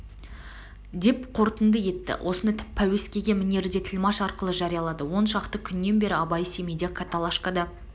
деп қорытынды етті осыны пәуескеге мінерде тілмаш арқылы жариялады он шақты күннен бері абай семейде каталашкада